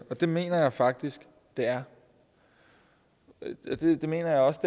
og det mener jeg faktisk det er og det mener jeg også